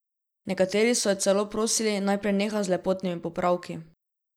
Nekateri so jo celo prosili naj preneha z lepotnimi popravki.